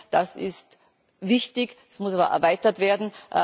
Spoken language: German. Das ist wichtig, es muss jedoch erweitert werden.